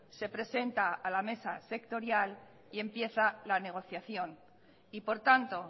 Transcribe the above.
se presenta a la mesa sectorial y empieza la negociación y por tanto